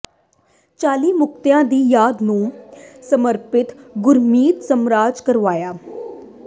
ਚਾਲੀ ਮੁਕਤਿਆਂ ਦੀ ਯਾਦ ਨੂੰ ਸਮਰਪਿਤ ਗੁਰਮਤਿ ਸਮਾਗਮ ਕਰਵਾਇਆ